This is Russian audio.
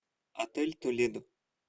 отель толедо